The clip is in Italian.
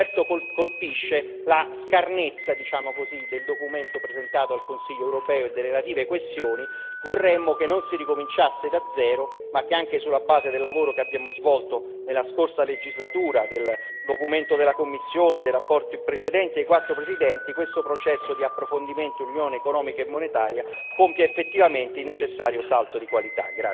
Certo, colpisce la scarnezza, diciamo così, del documento presentato al Consiglio europeo e delle relative questioni, vorremmo che non si ricominciasse da zero ma che, anche sulla base del lavoro che abbiamo svolto nella scorsa legislatura con il documento della Commissione e i rapporti precedenti ai quattro Presidenti, questo processo di approfondimento dell'Unione economica e monetaria compia effettivamente il necessario salto di qualità.